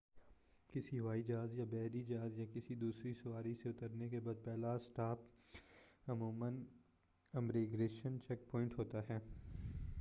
کسی ہوائی جہاز یا بحری جہاز یا کسی دوسری سواری سے اترنے کے بعد پہلا اسٹاپ عموماً امیگریشن چیک پوائنٹ ہوتا ہے